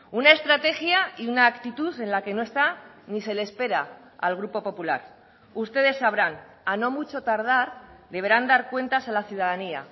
una estrategia y una actitud en la que no está ni se le espera al grupo popular ustedes sabrán a no mucho tardar deberán dar cuentas a la ciudadanía